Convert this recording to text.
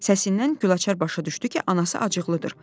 Səsindən Gülaçar başa düşdü ki, anası acıqlıdır.